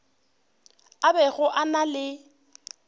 a bego a na le